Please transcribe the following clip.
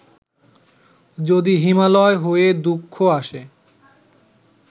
যদি হিমালয় হয়ে দুঃখ আসে